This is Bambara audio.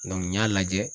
n y'a lajɛ